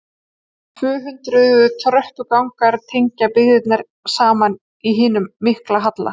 Um tvö hundruð tröppugangar tengja byggðina saman í hinum mikla halla.